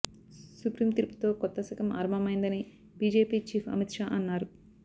supreme తీర్పుతో కొత్త శకం ఆరంభమైందని బీజేపీ చీఫ్ అమిత్ షా అన్నారు